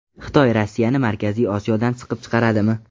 Xitoy Rossiyani Markaziy Osiyodan siqib chiqaradimi?